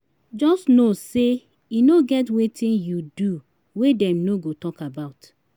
jus no sey e no get wetin yu do wey dem no go tok about